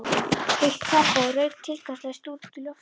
Heitt kakóið rauk tilgangslaust út í loftið.